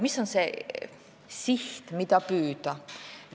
Mis on see siht, mida püüda?